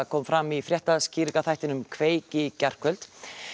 kom fram í fréttaskýringaþættinum kveik í gærkvöldi